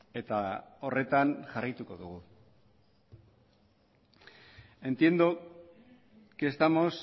eta horretan jarraituko dugu entiendo que estamos